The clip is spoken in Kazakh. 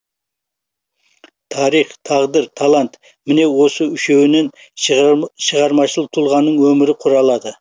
тарих тағдыр талант міне осы үшеуінен шығармашыл тұлғаның өмірі құралады